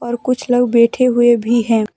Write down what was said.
और कुछ लोग बैठे हुए भी हैं।